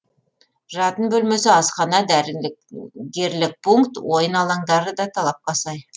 жатын бөлмесі асхана дәрілік гггерлік пункт ойын алаңдары да талапқа сай